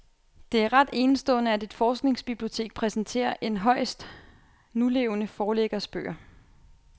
Det er ret enestående, at et forskningsbibliotek præsenterer en højst nulevende forlæggers bøger.